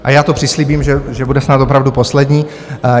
A já to přislíbím, že bude snad opravdu poslední.